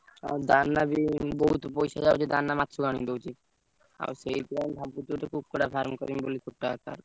ଆଉ ଦାନା ବି ବୋହୁତ ପଇସା ଯାଉଛି ଦାନା ବି ମାଛ କୁ ଅନ୍ୟ ଦଉଛି ଆଉ ସେଇଠିପାଇଁ ଭାବୁଛି କୁକୁଡ଼ା farm କରିବି ବୋଲି।